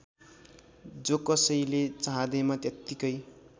जोकसैले चाहँदैमा त्यत्तिकै